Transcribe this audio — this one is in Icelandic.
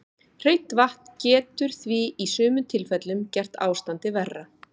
Hreint vatn getur því í sumum tilfellum gert ástandið verra.